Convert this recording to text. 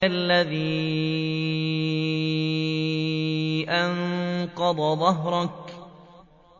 الَّذِي أَنقَضَ ظَهْرَكَ